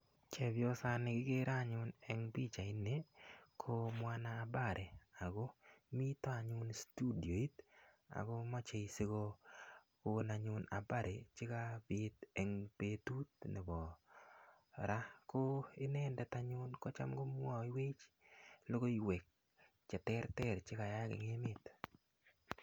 Chepyosani kikere anyun eng' pichaini ko mwana habari ako mita anyun studioit ako mache si kokon anyun habari che kapit en petut nepo ra. Ko inendet anyun ko cham komwaiwech logoiwek che terter che ka yaak eng' emet.